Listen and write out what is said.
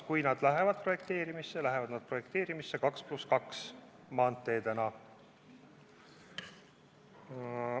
Kui neid hakatakse projekteerima, siis projekteeritakse need 2 + 2 maanteedena.